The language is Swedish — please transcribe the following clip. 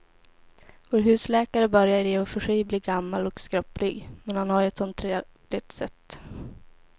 Vår husläkare börjar i och för sig bli gammal och skröplig, men han har ju ett sådant trevligt sätt!